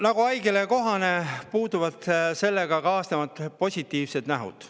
Nagu haigusele kohane, puuduvad ka sel sellega kaasnevad positiivsed nähud.